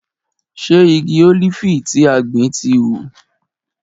Ṣe igi ólífì tí a gbìn ti hù?